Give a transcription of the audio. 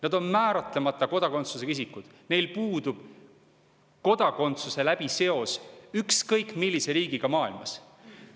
Nad on määratlemata kodakondsusega isikud, kellel puudub kodakondsuse kaudu seos ükskõik millise riigiga maailmas.